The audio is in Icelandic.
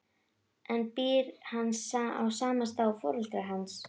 En býr hann á sama stað og foreldrar hans?